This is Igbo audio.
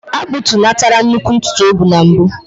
A kpụtunatara nnukwu ntutu o bu na mbụ.